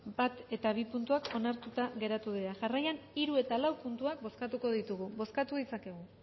bat eta bi puntuak onartuta geratu dira jarraian hiru eta lau puntuak bozkatuko ditugu bozkatu ditzakegu